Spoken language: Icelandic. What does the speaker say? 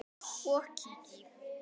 og kíki.